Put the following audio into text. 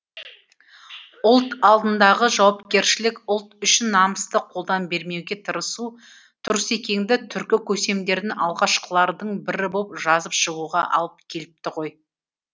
ұлт алдындағы жауапкершілік ұлт үшін намысты қолдан бермеуге тырысу тұрсекеңді түркі көсемдерін алғашқылардың бірі боп жазып шығуға алып келіпті ғой